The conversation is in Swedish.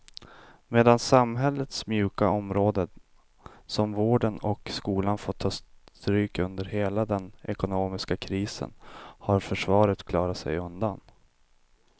Medan samhällets mjuka områden som vården och skolan fått ta stryk under hela den ekonomiska krisen har försvaret klarat sig undan.